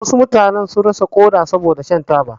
Wasu mutane sun rasa koda saboda shan taba.